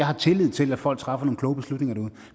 har tillid til at folk træffer nogle kloge beslutninger derude